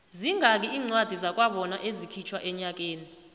zingaki incwadi zakwabona ezikhitjhwa enyakeni